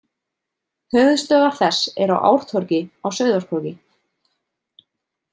Höfuðstöðvar þess eru á Ártorgi á Sauðárkróki.